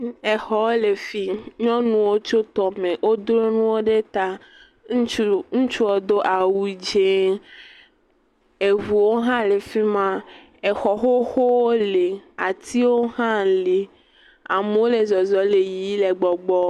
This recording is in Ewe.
Exɔ lɔ fi yi. Nyɔnuwo tso tɔ me. Wodro nuawo ɖe ta. Ŋuts, ŋuitsu do awu dzi. Eŋuwo hã le fi ma. Exɔ xoxowo li, atiwo hã li. Amewo le zɔzem le yiyim le gbɔgbɔm.